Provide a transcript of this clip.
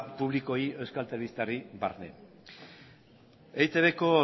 publikoei euskal telebistari barne eitbko